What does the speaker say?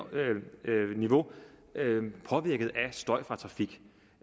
niveau er påvirket af støj fra trafik